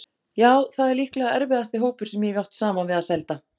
Já, það er líklega erfiðasti hópur sem ég hef átt saman við að sælda.